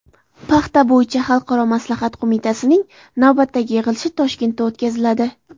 Paxta bo‘yicha xalqaro maslahat qo‘mitasining navbatdagi yig‘ilishi Toshkentda o‘tkaziladi.